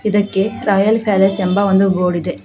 ಇದಕ್ಕೆ trial palace ಎಂಬ ಒಂದು ಬೋಡಿದೆ.